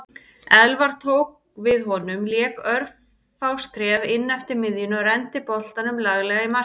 Elfar tók við honum lék örfá skref inneftir miðjunni og renndi boltanum laglega í markið.